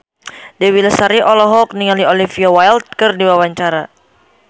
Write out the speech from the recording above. Dewi Lestari olohok ningali Olivia Wilde keur diwawancara